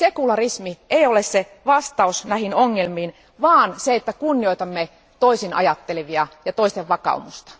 Sekularismi ei ole vastaus näihin ongelmiin vaan se, että kunnioitamme toisinajattelevia ja toisten vakaumusta.